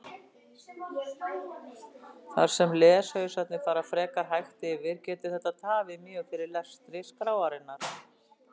Þar sem leshausarnir fara frekar hægt yfir getur þetta tafið mjög fyrir lestri skráarinnar.